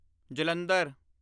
Jalandhar